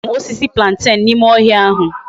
A huru m osisi plantain na ime ohia ahu